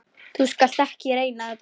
Þú skalt ekki reyna þetta.